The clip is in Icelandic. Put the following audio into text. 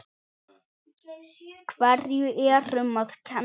Hverju er um að kenna?